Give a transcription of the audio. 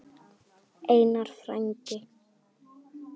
Einar frændi.